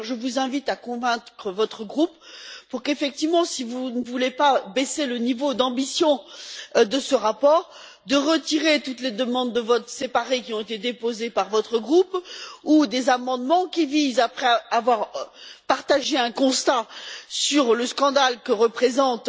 Je vous invite dès lors à convaincre votre groupe, si vous ne voulez pas baisser le niveau d'ambition de ce rapport, de retirer toutes les demandes de votes séparés qui ont été déposées par votre groupe ou des amendements qui visent toujours, après avoir partagé un constat sur le scandale que représente